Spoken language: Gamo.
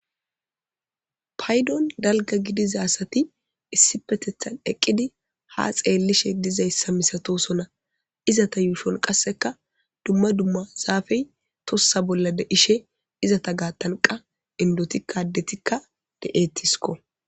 paydon dalga gidiza asati issipetethan eqqidi ha xeellishe dizayssa misatosona izata yuushon qasseka dumma dumma zaafey tossa bolla de ishe izata gaattanqa indotikaddetikka de7etisko